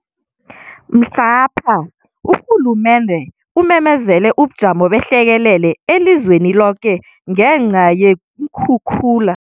Mhlapha urhulumende umemezele ubuJamo beHlekelele eliZweniloke ngenca yeenkhukhula ezisahlelekwezi.